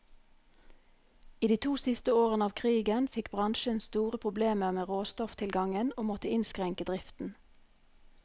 I de to siste årene av krigen fikk bransjen store problemer med råstofftilgangen, og måtte innskrenke driften.